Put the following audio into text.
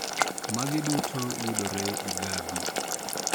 Magi duto yudore Igabi